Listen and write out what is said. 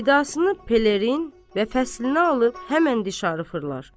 Vidasını pelerin və fəsliəni alıb həmən dişarı fırlar.